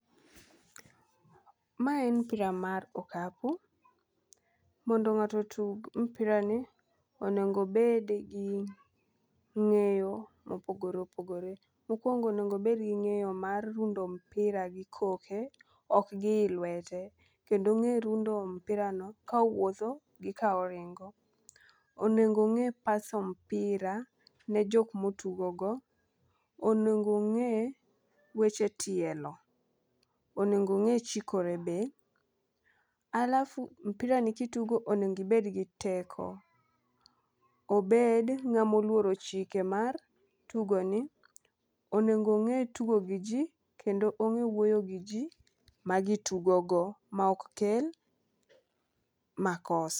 Mae en mpira mar okapu, mondo ng'ato otug mpira ni onego bed gi ng'eyo mopogore opogore. Mokwongo onego bed gi ng'eyo mar rundo mpira gi koke ok gi i lwete. Kendo ong'e rundo mpira no ka owuotho gi ka oringo. Onego ong'e paso mpira ne jok motugo go, onego ong'e weche tielo, onego ng'e chikore be alafu mpira ni kitugo onego ibed gi teko ,obed ng'at moluoro chike mar tugo ni , onego ng'e tugo gi jii kendo ong'e wuoyo gii jii ma gitugo go ma ok kel makosa.